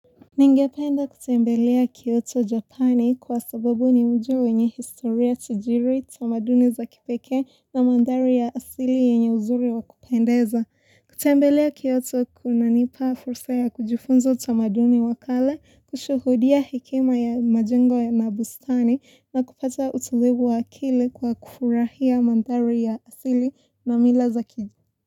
Ningependa kutembelea Kiyoto, Japani kwa sababu ni mji wenye historia tajiri, tamaduni za kipekee na mandhari ya asili yenye uzuri wa kupendeza. Kutembelea Kiyoto kunanipa fursa ya kujifunza utamaduni wa kale, kushuhudia hekima ya majengo na bustani na kupata utulivu wa akili kwa kufurahia mandhari ya asili na mila za ki.